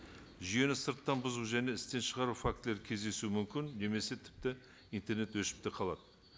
жүйені сырттан бұзу және істен шығару фактілері кездесуі мүмкін немесе тіпті интернет өшіп те қалады